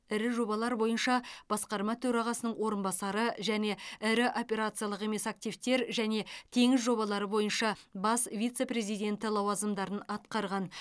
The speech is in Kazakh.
ірі жобалар бойынша басқарма төрағасының орынбасары және ірі операциялық емес активтер және теңіз жобалары бойынша бас вице президенті лауазымдарын атқарған